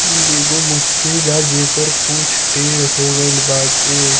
इ एगो मछरी बा जेकर पूँछ टेड़ हो गइल बाटे।